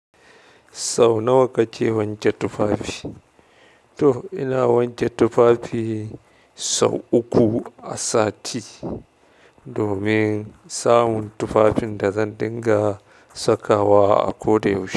Sau nawa kake wanke tufafi? To ina wanke tufafi sau uku a sati domin samun tufafin da zan dinga sakawa a ko da yaushe.